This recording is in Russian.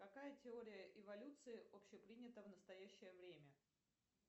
какая теория эволюции общепринята в настоящее время